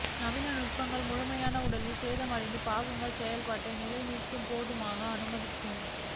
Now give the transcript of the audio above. நவீன நுட்பங்கள் முழுமையாக உடலின் சேதமடைந்த பாகங்கள் செயல்பாட்டை நிலை மீட்க போதுமான அனுமதிக்கும்